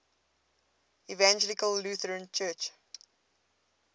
evangelical lutheran church